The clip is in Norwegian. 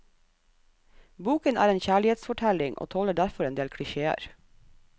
Boken er en kjærlighetsfortelling, og tåler derfor en del klisjéer.